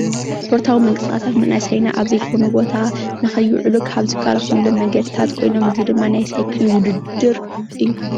ስፖርታዊ ምንቅስቃሳት መናእሰይና ኣብ ዘይኮነ ቦታ ንኸይውዕሉ ካብ ዝከላኸልሎም መንገድታት ኮይኖም እዚ ድማ ናይ ሳይክል ውድድር እዩ፡፡